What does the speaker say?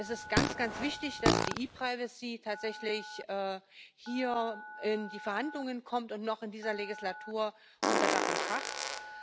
Es ist ganz, ganz wichtig, dass die ePrivacy tatsächlich hier in die Verhandlungen und noch in dieser Legislatur unter Dach und Fach kommt.